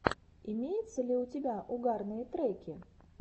имеется ли у тебя угарные треки